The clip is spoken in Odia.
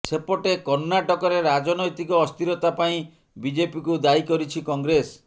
ସେପଟେ କର୍ଣ୍ଣାଟକରେ ରାଜନୈତିକ ଅସ୍ଥିରତା ପାଇଁ ବିଜେପିକୁ ଦାୟୀ କରିଛି କଂଗ୍ରେସ